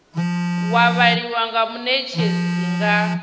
wa vhaliwa nga munetshedzi nga